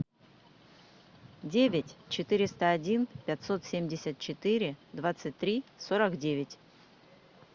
девять четыреста один пятьсот семьдесят четыре двадцать три сорок девять